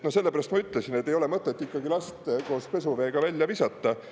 Sellepärast ma ütlesin, et ei ole mõtet ikkagi last koos pesuveega välja visata.